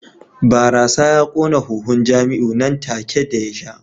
Barasa ya kona huhun Jamiu nan take ya sha